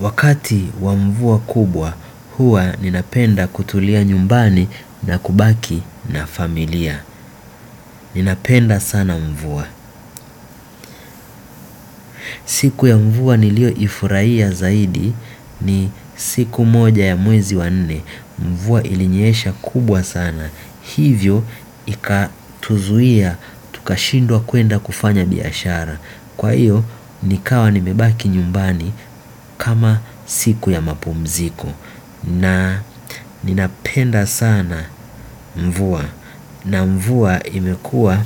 Wakati wa mvua kubwa hua ninapenda kutulia nyumbani na kubaki na familia. Ninapenda sana mvua. Siku ya mvua nilioifurahia zaidi ni siku moja ya mwezi wa nne. Mvua ilinyesha kubwa sana. Hivyo ikatuzuia, tukashindwa kuenda kufanya biashara. Kwa hiyo, nikawa nimebaki nyumbani kama siku ya mapumziko. Na ninapenda sana mvua. Na mvua imekua